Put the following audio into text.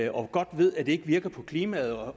og godt ved at det ikke virker på klimaet og